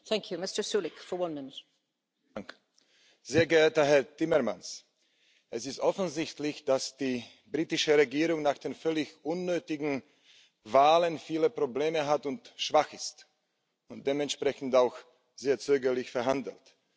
Frau Präsidentin, sehr geehrter Herr Timmermans! Es ist offensichtlich, dass die britische Regierung nach den völlig unnötigen Wahlen viele Probleme hat, schwach ist und dementsprechend auch sehr zögerlich verhandelt.